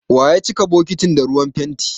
Wa ya cika bokitin da ruwan fenti?